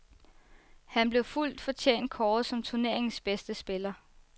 Han blev fuldt fortjent kåret som turneringens bedste spiller.